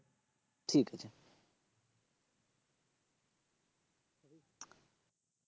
ঠিক আছে।